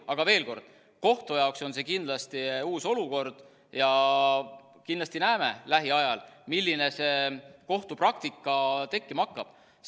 Aga veel kord: kohtu jaoks on see kindlasti uus olukord ja me näeme lähiajal, milline kohtupraktika tekkima hakkab.